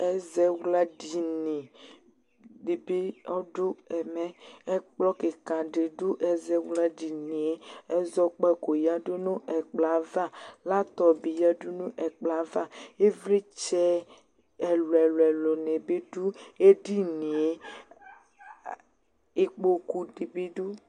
Ɛzawladini dɩ bɩ ɔdʋ ɛmɛ. Ɛkplɔ kɩka dɩ dʋ ɛzawladini yɛ. Ɛzɔkpako yǝdu nʋ ɛkplɔ yɛ ava. Laptɔp bɩ yǝdu nʋ ɛkplɔ yɛ ava. Ɩvlɩtsɛ ɛlʋ-ɛlʋnɩ bɩ dʋ edini yɛ, a ikpokunɩ dɩ bɩ dʋ.